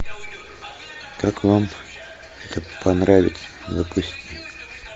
как вам это понравится запусти